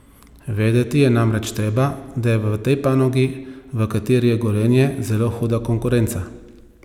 Vedeti je namreč treba, da je v tej panogi, v kateri je Gorenje, zelo huda konkurenca.